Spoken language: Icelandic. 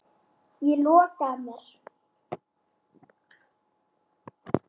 Ég loka að mér.